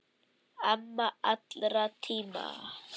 Amma allra tíma.